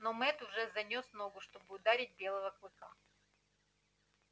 но мэтт уже занёс ногу чтобы ударить белого клыка